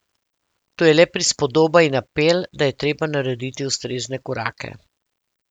To je le prispodoba in apel, da je treba narediti ustrezne korake.